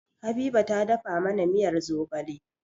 Habiba ta dafa mana miyar zogale